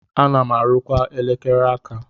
Ana m arụkwa elekere aka.